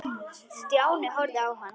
Stjáni horfði á hann.